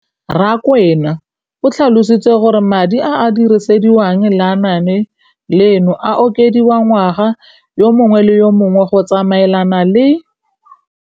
Rakwena o tlhalositse gore madi a a dirisediwang lenaane leno a okediwa ngwaga yo mongwe le yo mongwe go tsamaelana le